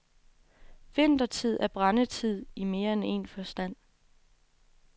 Vintertid er brændetid i mere end en forstand.